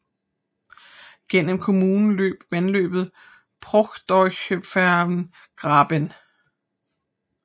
Gennem kommunen løber vandløbet Pöschendorfer Graben